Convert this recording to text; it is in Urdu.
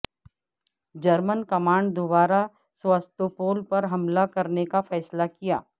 جرمن کمانڈ دوبارہ سواستوپول پر حملہ کرنے کا فیصلہ کیا